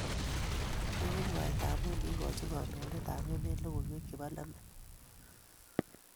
Kikimwaita amu kiikoch kandoitetab emet logoiwek chebo lembech